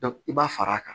i b'a fara a kan